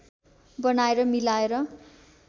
बनाएर मिलाएर